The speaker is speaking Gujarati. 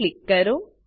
પર ક્લિક કરો